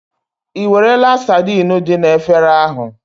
Ìwerela saidin dị na efere ahụ?